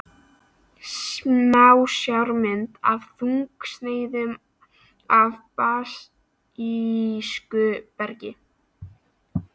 Smásjármynd af þunnsneiðum af basísku bergi.